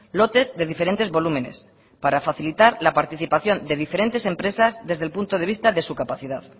lotes de diferentes volúmenes para facilitar la participación de diferentes empresas desde el punto de vista de su capacidad